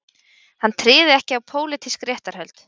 Hann tryði ekki á pólitísk réttarhöld